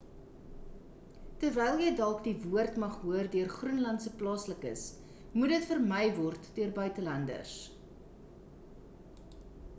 terwyl jy dalk die woord mag hoor deur groenlandse plaaslikes moet dit vermy word deur buitelanders